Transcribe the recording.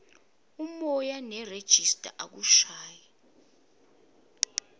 umoya nerejista akushayi